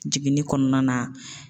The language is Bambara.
Jiginni kɔnɔna na